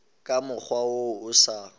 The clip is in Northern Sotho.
ka mokgwa wo o sa